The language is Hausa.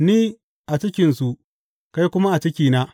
Ni a cikinsu kai kuma a cikina.